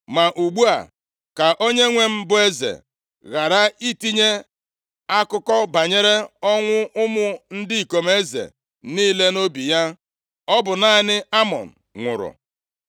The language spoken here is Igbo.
Ma ugbu a, ka onyenwe m bụ eze ghara itinye akụkọ banyere ọnwụ ụmụ ndị ikom eze niile, nʼobi ya. Ọ bụ naanị Amnọn nwụrụ.”